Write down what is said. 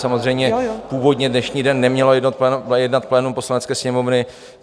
Samozřejmě, původně dnešní den nemělo jednat plénum Poslanecké sněmovny.